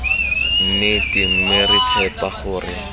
nnete mme re tshepa gore